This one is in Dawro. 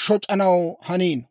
shoc'anaw haniino.